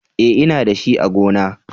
E, Ina da shi a gona.